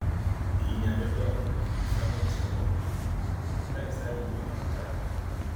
èyí ni adájọ ògòǹgò fi ju samuel sẹwọn ọdún kan láì sáàyè owó ìtanràn rárá